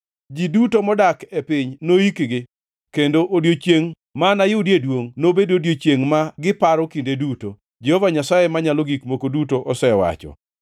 Ji duto modak e piny noikgi, kendo odiechiengʼ ma anayudie duongʼ nobed odiechiengʼ ma giparo kinde duto, Jehova Nyasaye Manyalo Gik Moko Duto osewacho.